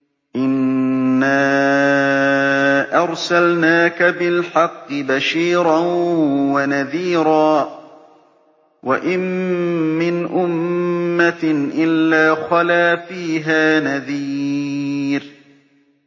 إِنَّا أَرْسَلْنَاكَ بِالْحَقِّ بَشِيرًا وَنَذِيرًا ۚ وَإِن مِّنْ أُمَّةٍ إِلَّا خَلَا فِيهَا نَذِيرٌ